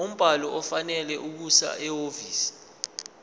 umbhalo ofanele okusehhovisi